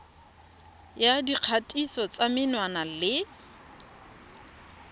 ya dikgatiso tsa menwana le